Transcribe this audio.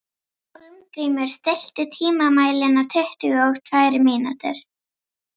Hólmgrímur, stilltu tímamælinn á tuttugu og tvær mínútur.